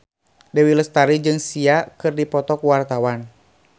Dewi Lestari jeung Sia keur dipoto ku wartawan